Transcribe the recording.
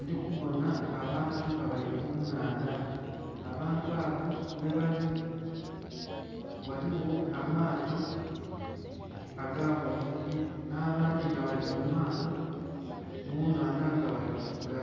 Ndhikubonha abantu nga bali kunhandha, abantu abo ghebali ghaligho amaato agabavubi nh'abndhi nga bali mumaato munhandha nga bali kuvuga